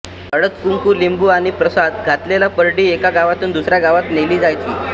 हळदकुंकू लिंबू आणि प्रसाद घातलेली परडी एका गावातून दुसऱ्या गावात नेली जायची